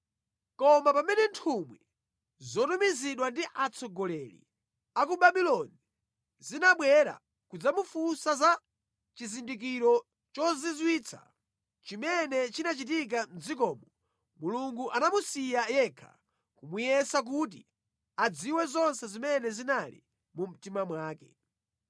Koma pamene nthumwi zotumizidwa ndi atsogoleri a ku Babuloni zinabwera kudzamufunsa za chizindikiro chozizwitsa chimene chinachitika mʼdzikomo, Mulungu anamusiya yekha, kumuyesa kuti adziwe zonse zimene zinali mu mtima mwake.